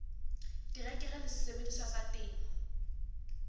terekere le sesebediswa sa temo